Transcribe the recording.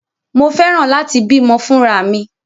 Mo fẹ́ràn láti bímọ fúnra mi.